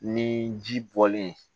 Ni ji bɔlen